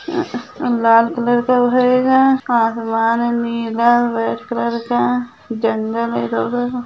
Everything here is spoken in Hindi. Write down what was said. आ लाल कलर का वो है गा आसमान नीला रेड कलर का जगल हैं इधर उधर--